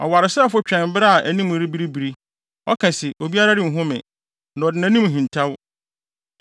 Ɔwaresɛefo twɛn bere a anim rebiribiri; ɔka se, ‘obiara renhu me,’ na ɔde nʼanim hintaw.